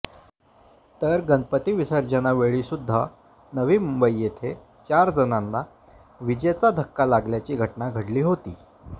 तर गणपती विसर्जनावेळी सुद्धा नवी मुंबई येथे चार जणांना विजेचा धक्का लागल्याची घटना घडली होती